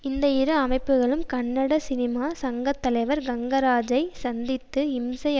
இந்த இரு அமைப்புகளும் கன்னட சினிமா சங்க தலைவர் கங்கராஜை சந்தித்து இம்சை